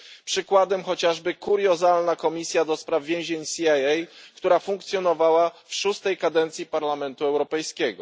Przykładem jest chociażby kuriozalna komisja do spraw więzień CIA, która funkcjonowała w szóstej kadencji Parlamentu Europejskiego.